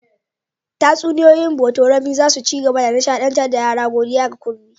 Tatsuniyoyi na botorami za su ci gaba da nishaɗantar da yara, godiya ga Kunmi.